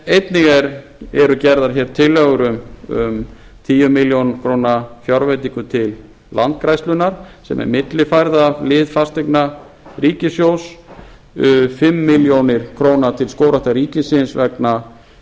einnig eru gerðar tillögu m tíu milljónir króna fjárveitingu til landgræðslunnar sem er millifærð af lið fasteigna ríkissjóðs fimm milljónir króna til skógræktar ríkisins vegna